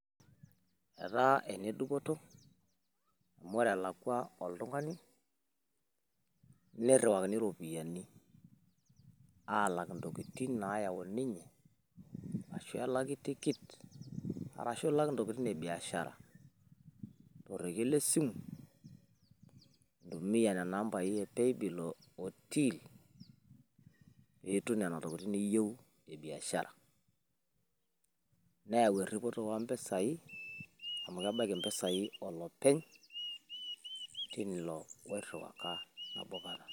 Etaaaa ene dupoto amu ore elakwa oltung'ani niriwakini iropiyiani aalak intokitin naayau ninye ashuu elaki tikit ashuu ilak intokitin ebiashara torekie le simu intumia nena ambai e paybill otill peeitum nena tokitin niyieu e biashara neeyau eripoto oompisai amu kebaiki impisai olopeny tilo oiruwaka nabo kata.